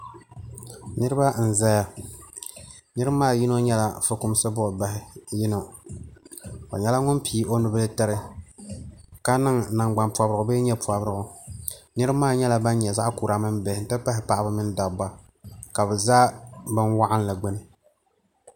Niriba n zaya niriba maa so nyɛla dukumsi buɣi bahi yino o nyɛla ŋuni pii o nubila tiri ka niŋ namgbani pɔbirigu bee yee pɔbirigu niriba maa nyɛla bani nyɛ zaɣi kura mini bihi n ti pa hi paɣiba mini dabiba ka bi za bini wɔɣinli gbuni